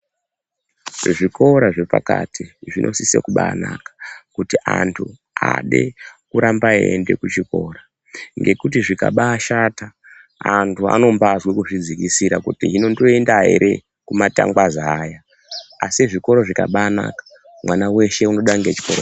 Kuzvikora zvepakati zvinosisa kubanaka kuti antu ade kuramba eiende kuchikora ngekuti zvikabashata antu anombazwe kuzvidzikisira kuti hino ndoenda ere kumatangwaza aya asi zvikoro zvikabanaka mwana weshe unoda ngechikoro .